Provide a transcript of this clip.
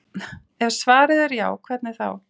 Ef svarið er já, hvernig þá?